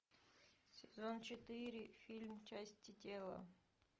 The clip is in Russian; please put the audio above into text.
сезон четыре фильм части тела